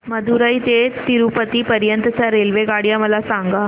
मदुरई ते तिरूपती पर्यंत च्या रेल्वेगाड्या मला सांगा